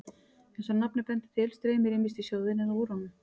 Eins og nafnið bendir til streymir ýmist í sjóðinn eða úr honum.